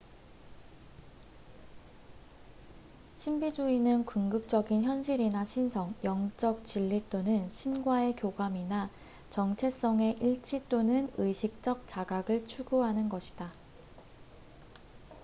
신비주의는 궁극적인 현실이나 신성 영적 진리 또는 신과의 교감이나 정체성의 일치 또는 의식적 자각을 추구하는 것이다